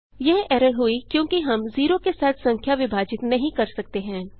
यह एरर हुई क्योंकि हमने ज़ेरो के साथ संख्या विभाजित नहीं कर सकते हैं